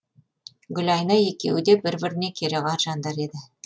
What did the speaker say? гүлайна екеуі де бір біріне керағар жандар еді